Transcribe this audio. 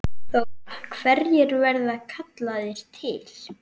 Þóra: Hverjir verða kallaðir til?